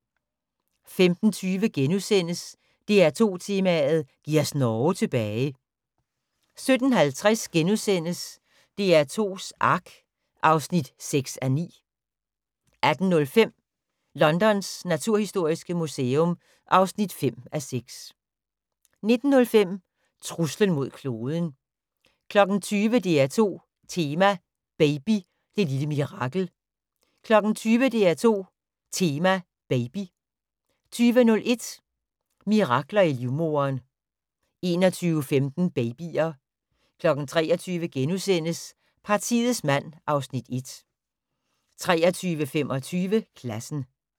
15:20: DR2 Tema: Giv os Norge tilbage * 17:50: DR2s Ark (6:9)* 18:05: Londons naturhistoriske museum (5:6) 19:05: Truslen mod kloden 20:00: DR2 Tema: Baby – det lille mirakel 20:00: DR2 Tema: Baby 20:01: Mirakler i livmoderen 21:15: Babyer 23:00: Partiets mand (Afs. 1)* 23:25: Klassen